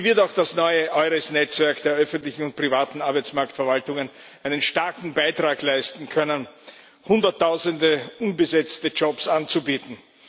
Hier wird auch das neue EURES Netzwerk der öffentlichen und privaten Arbeitsmarktverwaltungen einen starken Beitrag leisten können, Hunderttausende unbesetzte Jobs anzubieten.